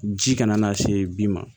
Ji kana na se bin ma